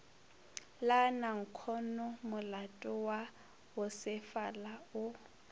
la nankhonomolato wa bosefala o